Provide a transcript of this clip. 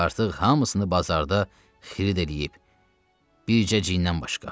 Artıq hamısını bazarda xirid eləyib, bircə cindən başqa.